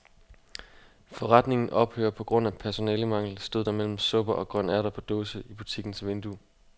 Forretningen ophører på grund af personalemangel, stod der mellem supper og grønærter på dåse i butikkens vindue.